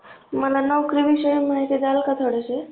मला नोकरी विषयी माहिती द्याल का थोडीशी